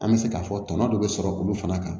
An bɛ se k'a fɔ tɔnɔ dɔ bɛ sɔrɔ olu fana kan